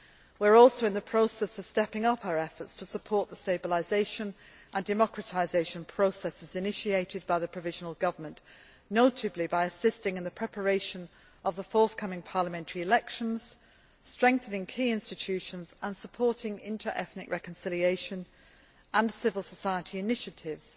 We are also in the process of stepping up our efforts to support the stabilisation and democratisation processes initiated by the provisional government, notably by assisting in the preparation of the forthcoming parliamentary elections, strengthening key institutions and supporting interethnic reconciliation and civil society initiatives,